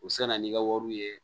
U se na n'i ka wariw ye